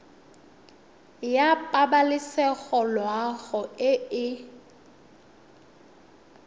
ya pabalesego loago e e